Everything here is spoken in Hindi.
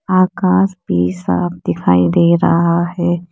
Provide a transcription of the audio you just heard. आकाश भी साफ दिखाई दे रहा है।